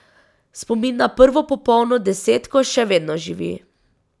Spomin na prvo popolno desetko še vedno živi.